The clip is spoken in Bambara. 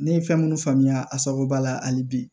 Ne ye fɛn munnu faamuya a sababuba la hali bi